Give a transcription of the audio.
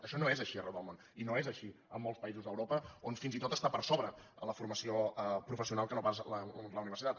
això no és així arreu del món i no és així en molts països d’europa on fins i tot està per sobre la formació professional que no pas la universitat